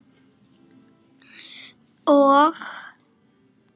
Og?